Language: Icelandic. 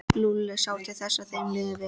Lúlli sá til þess að þeim liði vel.